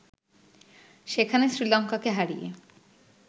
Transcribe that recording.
সেখানে শ্রীলঙ্কাকে হারিয়ে